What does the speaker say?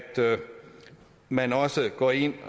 man også går ind